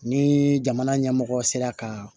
Ni jamana ɲɛmɔgɔ sera ka